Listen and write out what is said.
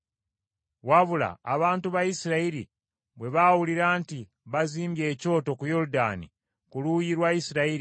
Wabula abantu ba Isirayiri bwe baawulira nti bazimbye ekyoto ku Yoludaani ku luuyi lwa Isirayiri,